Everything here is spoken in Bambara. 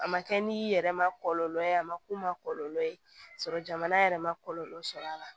A ma kɛ ni yɛrɛ ma kɔlɔlɔ ye a ma k'u ma kɔlɔlɔ ye k'a sɔrɔ jamana yɛrɛ ma kɔlɔlɔ sɔrɔ a la